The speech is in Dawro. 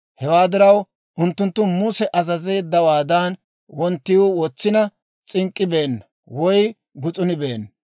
Hewaa diraw, unttunttu Muse azazeeddawaadan wonttiw wotsina s'ink'k'ibeena woy gus'unibeena.